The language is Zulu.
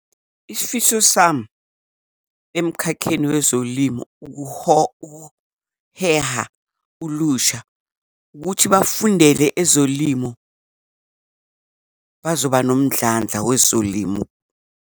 Isifiso sami emkhakheni wezolimo ukuheha ulusha kuthi bafundele ezolimo bazoba nomndlandla wezolimo.